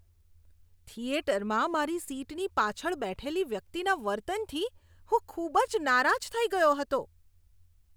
થિયેટરમાં મારી સીટની પાછળ બેઠેલી વ્યક્તિના વર્તનથી હું ખૂબ જ નારાજ થઈ ગયો હતો.